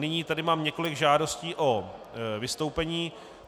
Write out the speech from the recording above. Nyní tady mám několik žádostí o vystoupení.